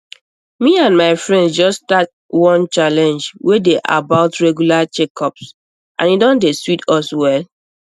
me and my friends just start one challenge wey dey about regular checkups and e don dey sweet us well